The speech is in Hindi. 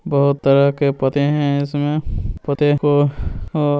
बहुत तरह के पौधे है इसमे पोते को --